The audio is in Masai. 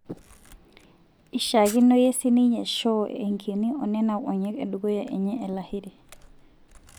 Eishakenoyie sininye Shaw enkiini onena onyek edukuya enye Lahiri.